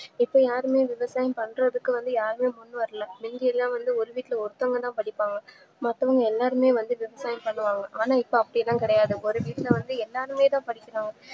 இப்போ யாரும்யே விவசாயம் பண்றதுக்கும் யாருமே முன்வரல முந்திலா வந்து ஒருவீட்ல ஒருத்தவங்கதா படிப்பாங்க மத்தவங்க எல்லாருமே வந்து விவசாயம் பண்ணுவாங்க ஆனா இப்போ அப்டிலாம் கெடையாது ஒருவீட்லவந்து எல்லாருமேதான் படிக்கிறாங்க